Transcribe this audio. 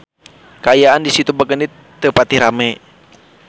Kaayaan di Situ Bagendit teu pati rame